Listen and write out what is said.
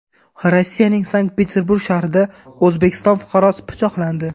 Rossiyaning Sankt-Peterburg shahrida O‘zbekiston fuqarosi pichoqlandi.